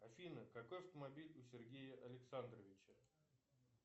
афина какой автомобиль у сергея александровича